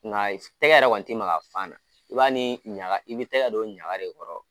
Nka tɛgɛ yɛrɛ kɔni ti maka a fan na i b'a ni ɲaga i bi tɛgɛ don ɲaga de kɔrɔ.